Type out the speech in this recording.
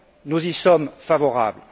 Nous y sommes favorables.